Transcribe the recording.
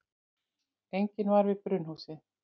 Enginn var við brunnhúsið.